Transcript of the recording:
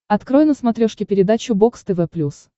открой на смотрешке передачу бокс тв плюс